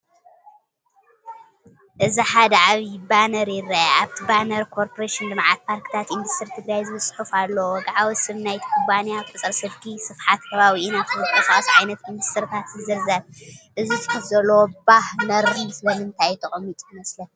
እዚ ሓደ ዓቢ ባነር ይርአ። ኣብቲ ባነር "ኮርፖሬሽን ልምዓት ፓርክታት ኢንዱስትሪ ትግራይ" ዝብል ጽሑፍ ኣለዎ። ወግዓዊ ስም ናይቲ ኩባንያ፡ ቁጽሪ ስልኪ፡ ስፍሓት ከባቢን ኣብኡ ዝንቀሳቐሱ ዓይነታት ኢንዱስትሪታትን ይዝርዝር። እዚ ጽሑፍ ዘለዎ ባነር ስለምንታይ እዩ ተቐሚጡ ይመስለካ?